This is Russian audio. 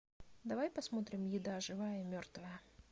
давай посмотрим еда живая и мертвая